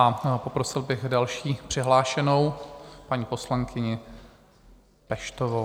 A poprosil bych další přihlášenou, paní poslankyni Peštovou.